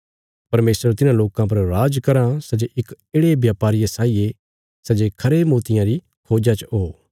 परमेशर तिन्हां लोकां पर राज कराँ सै जे इक येढ़े व्यापारिये साई ये सै जे खरे मोतियां री खोज्जा च हो